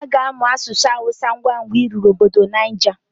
Aga amụ asụsụ awusa ngwangwa ị ruru obofo Niger